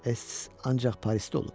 Ests ancaq Parisdə olub.